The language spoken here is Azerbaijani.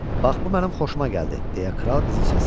Bax bu mənim xoşuma gəldi, deyə kral qızı səsləndi.